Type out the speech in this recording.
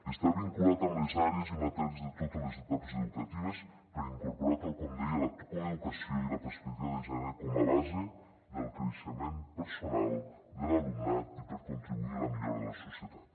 està vinculat amb les àrees i matèries de totes les etapes educatives per incorporar tal com deia la coeducació i la perspectiva de gènere com a base del creixement personal de l’alumnat i per contribuir a la millora de la societat